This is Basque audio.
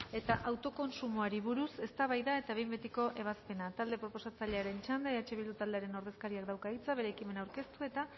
autokontsumoari buruz eztabaida eta behin betiko ebazpena talde proposatzailearen txanda eh bildu taldearen ordezkariak dauka hitza bere ekimena aurkeztu eta